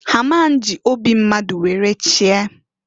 Ha a ma nji obi mmadu were chie.